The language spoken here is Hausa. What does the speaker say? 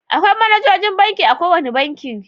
Akwai manajojin banki a kowane banki.